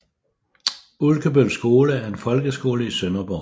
Ulkebøl Skole er en folkeskole i Sønderborg